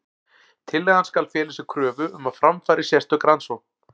Tillagan skal fela í sér kröfu um að fram fari sérstök rannsókn.